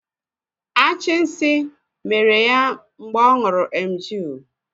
Achì nsí mèrè ya mgbe ọ ṅụrụ emgịl